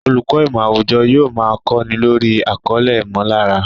Olùkọ́ ìmọ̀ àwùjọ yóò máa kọ́ni lórí àkọlé "ìmọ̀lára"